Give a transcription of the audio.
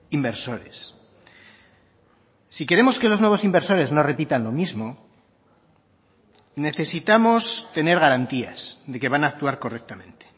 inversores si queremos que los nuevos inversores no repitan lo mismo necesitamos tener garantías de que van a actuar correctamente